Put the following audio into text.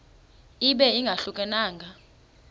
ibe ingahluka nanga